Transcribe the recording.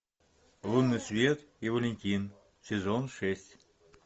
лунный свет и валентин сезон шесть